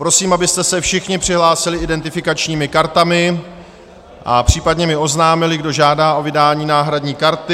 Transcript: Prosím, abyste se všichni přihlásili identifikačními kartami a případně mi oznámili, kdo žádá o vydání náhradní karty.